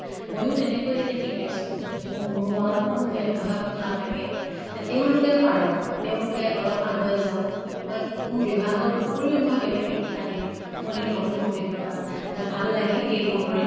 মইয়ো তেনেকৈয়ে এতিয়া শিকাইছো যে মোৰো মনত কোনো ভেদ ভাৱ নাথাকে। তে তেওঁলোকে পাৰক। তেওঁলোকে অলপ আগুৱাই যাওঁক। হয়, মোৰ বিভাগৰ উপৰিও মই বেলেগ শিক্ষা দিওঁ, মোৰ এইটো নতুন অভিজ্ঞ্তা। মোৰ ভাল লাগে সেইবোৰ কৰি।